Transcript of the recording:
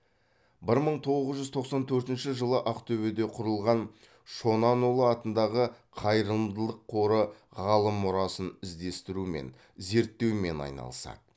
бір мың тоғыз жүз тоқсан төртінші жылы ақтөбеде құрылған шонанұлы атындағы қайырымдылық қоры ғалым мұрасын іздестірумен зерттеумен айналысады